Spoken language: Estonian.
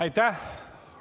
Aitäh!